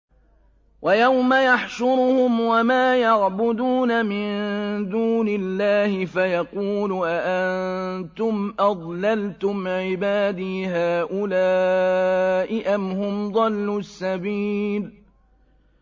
وَيَوْمَ يَحْشُرُهُمْ وَمَا يَعْبُدُونَ مِن دُونِ اللَّهِ فَيَقُولُ أَأَنتُمْ أَضْلَلْتُمْ عِبَادِي هَٰؤُلَاءِ أَمْ هُمْ ضَلُّوا السَّبِيلَ